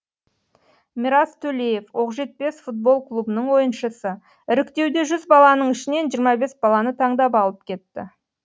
мирас төлеев оқжетпес футбол клубының ойыншысы іріктеуде жүз баланың ішінен жиырма бес баланы таңдап алып кетті